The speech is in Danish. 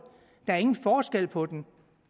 der er ingen forskel på dem